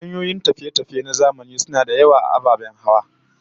Hanyoyin tafiye-tafiye na zamani suna da yawa, da ababen hawa